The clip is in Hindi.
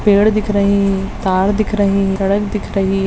पेड़ दिख रही तार दिख रही सड़क दिख रही।